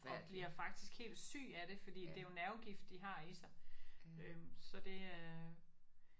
Og bliver faktisk helt syg af det fordi det er jo nervegift de har i sig øh så det